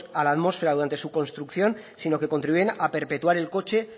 a la atmósfera durante su construcción sino que contribuyen a perpetuar el coche